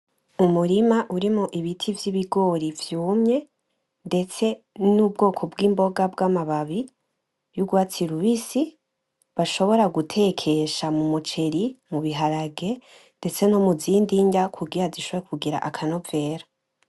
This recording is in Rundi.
Umurima urimwo ibiti vy'ibigori vyumye ndetse n'ubwoko bw'imboga bw'amababi y'urwatsi rubisi bashobora gutekesha mu muceri, mu biharage ndetse no muzindi nrya kugira zishobore kugira akanovera.